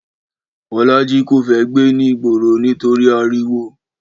Bọ́lájí kò fẹ́ gbé ní ìgboro nítorí ariwo